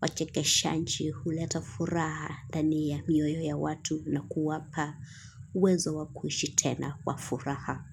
Wachekeshaji huleta furaha ndani ya mioyo ya watu na kuwapa uwezo wa kuishi tena wa furaha.